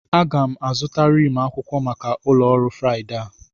Aga m azụta rim akwụkwọ maka ụlọ ọrụ Friday a.